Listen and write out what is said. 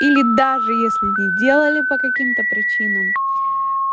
или даже если не делали по каким-то причинам